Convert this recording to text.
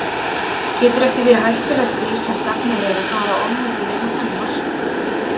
Getur ekki verið hættulegt fyrir íslenskt gagnaver að fara of mikið inn á þennan markað?